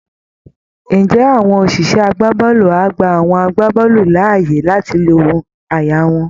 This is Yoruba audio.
Ǹjẹ́ àwọn òṣìṣẹ́ agbábọ́ọ̀lù á gba àwọn agbábọ́ọ̀lù láàyè láti lo àyà wọn?